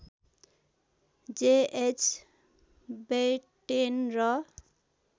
JH Batten र